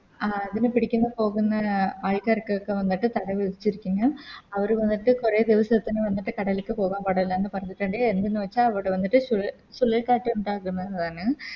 ആ അതിനെ പിടിക്കുന്ന പോകുന്ന ആൾക്കാർക്കൊക്കെ വന്നിട്ട് അവര് വന്നിട്ട് കൊറേ ദിവസത്തിന് വന്നിട്ട് കടൽക്ക് പോകാൻ പാടില്ലാന്ന് പറഞ്ഞ്ട്ട്ണ്ട് എന്തെന്ന് വെച്ച അവിടെ വന്നിട്ട് ചു ചുഴലികാറ്റ് ഉണ്ടാകുന്ന് ആണ്